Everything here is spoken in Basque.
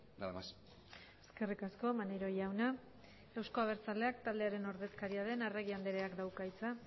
nada más eskerrik asko maneiro jauna euzko abertzaleak taldearen ordezkaria den arregi andreak dauka hitza